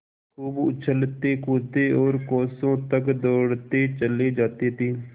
खूब उछलतेकूदते और कोसों तक दौड़ते चले जाते थे